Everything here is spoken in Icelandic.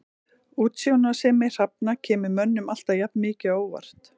Útsjónarsemi hrafna kemur mönnum alltaf jafn mikið á óvart.